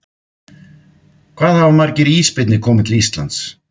Hvað hafa margir ísbirnir komið til Íslands?